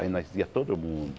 Aí nós ia todo mundo.